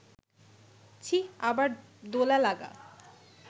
ছিঃ, আবার ‘দোলা-লাগা’